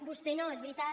vostès no és veritat